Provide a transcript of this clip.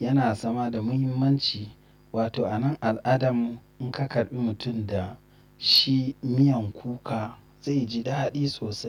yana zama da muhimmanci. Wato a nan al'adarmu in ka karɓi mutum da shi miyan kuka zai ji daɗi sosai.